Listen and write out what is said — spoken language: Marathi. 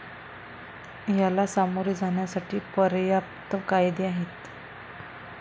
याला सामोरे जाण्यासाठी पर्याप्त कायदे आहेत.